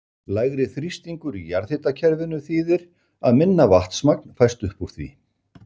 Lægri þrýstingur í jarðhitakerfinu þýðir að minna vatnsmagn fæst upp úr því.